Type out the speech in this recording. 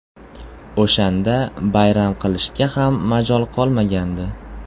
O‘shanda bayram qilishga ham majol qolmagandi.